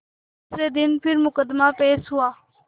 दूसरे दिन फिर मुकदमा पेश हुआ